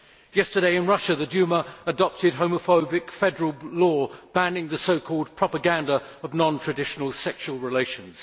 Yesterday in Russia, the Duma adopted a homophobic federal law banning the so called propaganda of non traditional sexual relations.